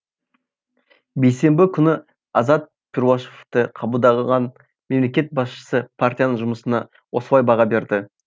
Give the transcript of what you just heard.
бейсенбі күні азат перуашевты қабылдаған мемлекет басшысы партияның жұмысына осылай баға берді